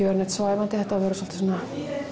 vera neitt svæfandi þetta á að vera svolítið svona